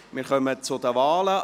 Wir kommen zu den Wahlen.